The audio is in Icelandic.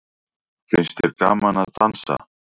Finnst þér gaman að dansa?